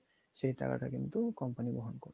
সেই টাকাটা কিন্তু company বহন করবে